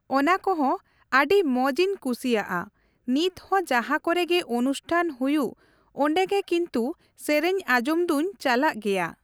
ᱚᱱᱟ ᱠᱚᱦᱚᱸ ᱟᱹᱰᱤ ᱢᱚᱡᱽ ᱤᱧ ᱠᱩᱥᱤᱣᱟᱜᱼᱟ ᱾ ᱱᱤᱛᱦᱚᱸ ᱡᱟᱦᱟᱸ ᱠᱚᱨᱮᱜᱮ ᱚᱱᱩᱥᱴᱷᱟᱱ ᱦᱩᱭᱩᱜ ᱚᱸᱰᱮᱜᱮ ᱠᱤᱱᱛᱩ ᱥᱮᱨᱮᱧ ᱟᱸᱡᱚᱢ ᱫᱚᱧ ᱪᱟᱞᱟᱜ ᱜᱮᱭᱟ ᱾